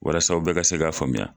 Walas'aw bɛɛ ka se k'a faamuya.